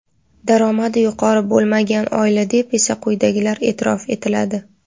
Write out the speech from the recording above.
Daromadi yuqori bo‘lmagan oila deb esa quyidagilar e’tirof etiladi:.